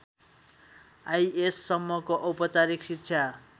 आइएसम्मको औपचारिक शिक्षा